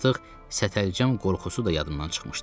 Artıq sətəlcəm qorxusu da yadımdan çıxmışdı.